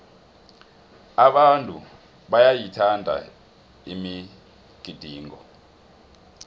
abantu bayayithanda imigidingo